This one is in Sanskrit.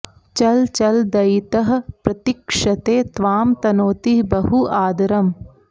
चल चल दयितः प्रतीक्षते त्वां तनोति बहु आदरम्